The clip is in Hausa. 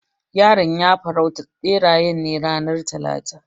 Yaron ya farauta berayen ne ranar talata.